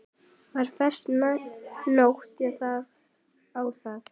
Var fest nót á þá.